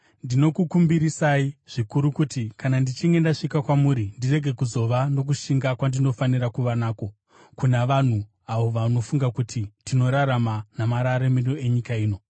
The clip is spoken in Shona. Ndinokukumbirisai zvikuru kuti kana ndichinge ndasvika kwamuri ndirege kuzova nokushinga kwandinofanira kuva nako kuna vanhu avo vanofunga kuti tinorarama namararamiro enyika ino.